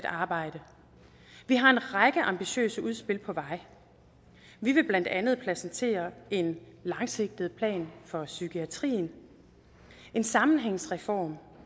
arbejdet vi har en række ambitiøse udspil på vej og vi vil blandt andet præsentere en langsigtet plan for psykiatrien en sammenhængsreform